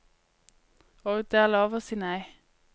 Og det er lov å si nei.